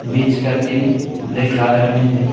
बीच का तीन black colour में है।